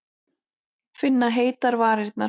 Finna heitar varirnar.